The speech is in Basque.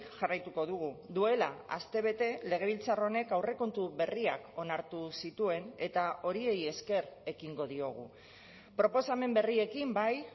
jarraituko dugu duela astebete legebiltzar honek aurrekontu berriak onartu zituen eta horiei esker ekingo diogu proposamen berriekin bai